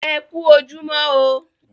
E kú ojúmọ́ o.